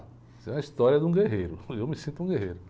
Isso é a história de um guerreiro, eu me sinto um guerreiro.